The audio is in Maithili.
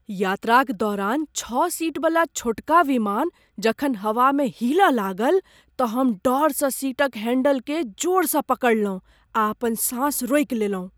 यात्राक दौरान छओ सीटवला छोटका विमान जखन हवामे हिलय लागल तँ हम डरसँ सीटक हैंडलकेँ जोरसँ पकड़लहुँ आ अपन साँस रोकि लेलहुँ।